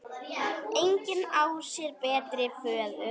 Engin á sér betri föður.